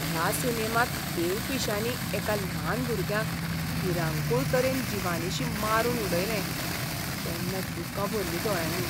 ह्या सिनेमांत देवपिश्यांनी एका ल्हान भुरग्याक भिरांकूळ तरेन जिवानशीं मारून उडयलें तेन्ना दुकां भरलीं दोळ्यांनी.